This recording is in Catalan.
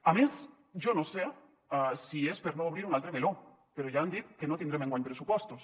a més jo no sé si és per no obrir un altre meló però ja han dit que no tindrem enguany pressupostos